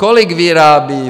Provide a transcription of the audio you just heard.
Kolik vyrábí